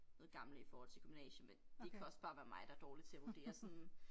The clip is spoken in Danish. Noget gamle i forhold til gymnasie men det kan også bare være mig der dårlig til at vurdere sådan